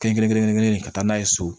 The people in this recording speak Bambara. Kelen kelen kelen kelen ka taa n'a ye so